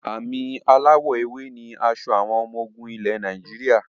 Àmì aláwọ èwe ni aṣọ àwọn ọmọ ogun ilẹ̀ Nàìjíríà